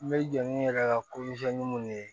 N bɛ jɔ ni n yɛrɛ ka minnu ye